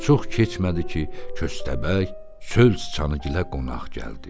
Çox keçmədi ki, köstəbək çöl çıçanıgilə qonaq gəldi.